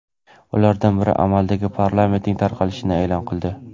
Ulardan biri amaldagi parlamentning tarqatilishini e’lon qildi.